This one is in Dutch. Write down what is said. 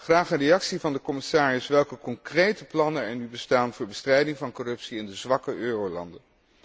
Graag een reactie van de commissaris welke concrete plannen er nu bestaan voor de bestrijding van corruptie in de zwakke eurolanden.